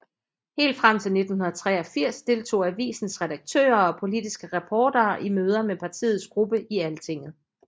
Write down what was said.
Helt frem til 1983 deltog avisens redaktører og politiske reportere i møder med partiets gruppe i Altinget